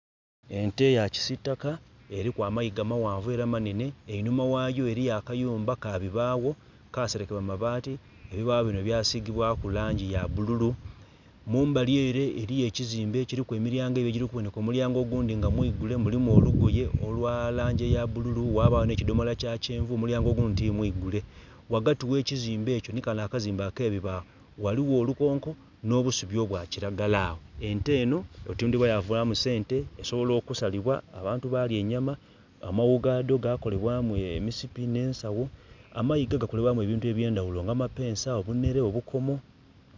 Ente eya kisitaka eliku amaiga maghanvu era manene enhuma ghayo eriyo akayumba kabibagho kaserekebwa mabati ebibagho bino bya sigibwaku langi ya bululu mumbali ere eriyo ekizimbe ekiliku emilyango ebiri omulyango ogundhi nga mwigule mulimu olugoye olwa langi eya bululu ghbagho nhe kidhomola ekya kyenvu omulyango ogundhi ti mwigule. Ghagati ghe kizimbe ekyo nhi kale akazimbe akebibagho, ghaligho olu konko nho busubi obwa kilagala agho. Ente eno okutundhibwa ya vamu sente esobola okusalibwa abantu balya enyama, amaghu gadho gakolebwamu emisipi ne ensagho amaiga gakolebwamu ebintu ebye ndhaghulo nga amapensa, obunhere, obukomo.